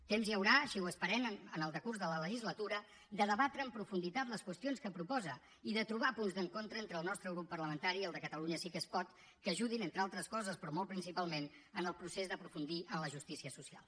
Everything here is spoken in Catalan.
temps hi haurà així ho esperem en el decurs de la legislatura de debatre amb profunditat les qüestions que proposa i de trobar punts d’encontre entre el nostre grup parlamentari i el de catalunya sí que es pot que ajudin entre altres coses però molt principalment en el procés d’aprofundir en la justícia social